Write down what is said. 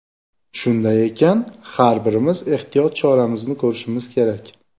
Shunday ekan, har birimiz ehtiyot choramizni ko‘rishimiz kerak.